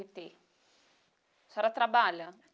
ttê. A senhora trabalha?